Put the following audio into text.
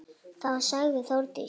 Þá sagði Þórdís